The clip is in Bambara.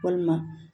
Walima